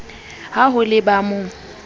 ha ho le ba mo